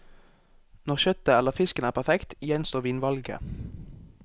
Når kjøttet eller fisken er perfekt, gjenstår vinvalget.